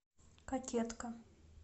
кокетка